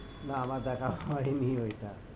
না আমার দেখা হয়নি ওইটা,